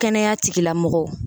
Kɛnɛya tigilamɔgɔw